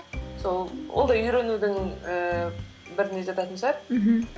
сол ол да үйренудің ііі біріне жататын шығар мхм